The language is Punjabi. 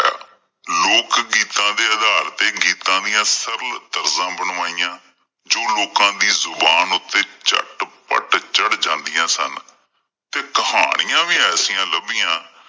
ਲੋਕ ਗੀਤਾਂ ਦੇ ਆਧਾਰ ਤੇ ਗੀਤਾਂ ਦੀਆਂ ਸਰਲ ਤਰਜ਼ਾਂ ਬਣਵਾਇਆਂ, ਜੋ ਲੋਕਾਂ ਦੀ ਜ਼ੁਬਾਨ ਉੱਤੇ ਝੱਟ-ਪੱਟ ਚੜ ਜਾਂਦੀਆਂ ਸਨ। ਤੇ ਕਹਾਣੀਆਂ ਵੀ ਐਸੀਆਂ ਲੱਭਿਆਂ ।